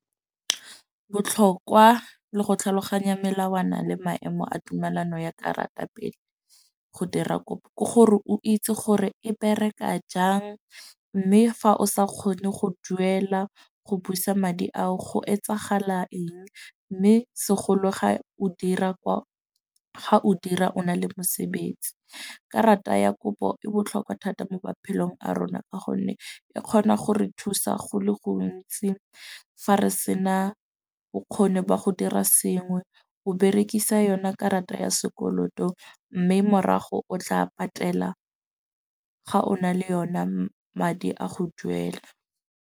Botlhokwa le go tlhaloganya melawana le maemo a tumelano ya karata pele o dira kopo ke gore o itse gore e bereka jang. Mme fa o sa kgone go duela go busa madi a o go etsagala eng. Mme segolo ga o dira kwa, ga o dira o na le mosebetsi karata ya kopo e botlhokwa thata mo maphelong a rona. Ka gonne e kgona go re thusa go le gontsi fa re sena bokgoni ba go dira sengwe, o berekisa yone karata ya sekoloto. Mme morago o tla patela ga ona le yona madi a go duela.